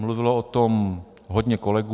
Mluvilo o tom hodně kolegů.